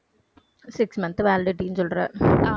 six month validity ன்னு சொல்ற.